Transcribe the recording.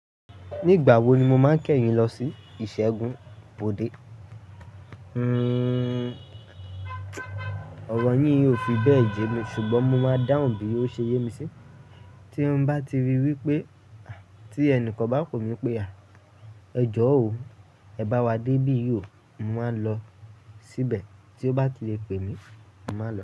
Nígbà wo ni mo máa ń kẹ́yin lọ sí ìṣẹ́gun Bọ̀dé? Hmm ọ̀rọ̀ yín ò fi bẹ́ẹ̀ yẹ mí ṣùgbọ́n mo máa dáhùn bí ó ṣe yé mi sí. Tí mo bá ti rí wí pé tí ẹnìkan bá pé mi pé "à, ẹjọ́ o, ẹ bá wa dé bí yóò," mo máa lọ síbẹ̀. Tí ó bá ti lè pè mí, mo máa lọ.